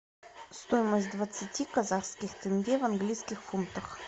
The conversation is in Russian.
стоимость двадцати казахских тенге в английских фунтах